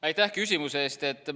Aitäh küsimuse eest!